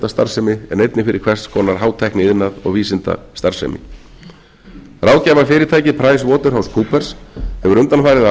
starfsemi en einnig fyrir hvers konar hátækniiðnað og vísindastarfsemi ráðgjafarfyrirtækið price waterhouse coopers hefur undanfarið